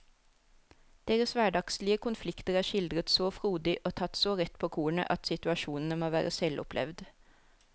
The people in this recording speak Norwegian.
Deres hverdagslige konflikter er skildret så frodig og tatt så rett på kornet at situasjonene må være selvopplevd.